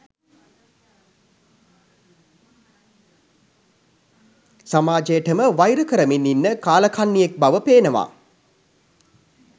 සමාජයටම වයිර කරමින් ඉන්න කාලකන්නියෙක් බව පේනවා